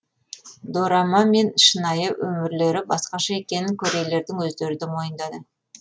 дорама мен шынайы өмірлері басқаша екенін корейлердің өздері де мойындады